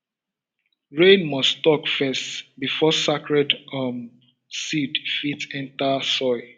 rain must talk first before sacred um seed fit enter soil